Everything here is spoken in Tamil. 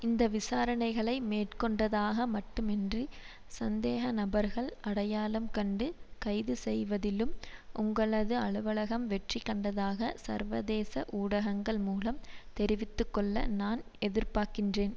இந்த விசாரணைகளை மேற்கொண்டதாக மட்டுமன்றி சந்தேக நபர்கள் அடையாளம் கண்டு கைது செய்வதிலும் உங்களது அலுவலகம் வெற்றி கண்டதாக சர்வதேச ஊடகங்கள் மூலம் தெரிவிதுகொள்ள நான் எதிர்பாக்கின்றேன்